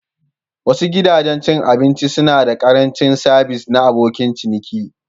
Wasu gidajen cin abinci suna da ƙarancin sabis na abokin ciniki.